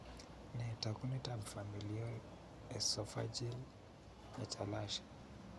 Nee taakunetaab Familial esophageal achalasia?